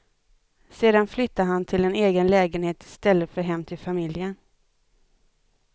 Sedan flyttade han till en egen lägenhet istället för hem till familjen.